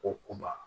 Ko kuba